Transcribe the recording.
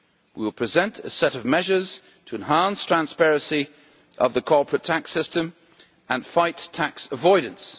We will present a set of measures to enhance transparency of the corporate tax system and fight tax avoidance.